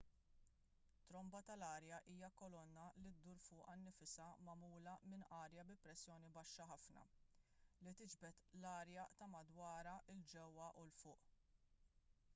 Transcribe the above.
tromba tal-arja hija kolonna li ddur fuqha nfisha magħmula minn arja bi pressjoni baxxa ħafna li tiġbed l-arja ta' madwarha il ġewwa u l fuq